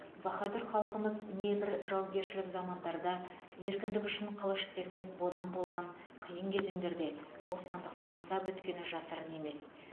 баһадүр халқымыз небір жаугершілік замандарда еркіндік үшін қылыш сермеп бодан болған қиын кезеңдерде бостандықты аңсап өткені жасырын емес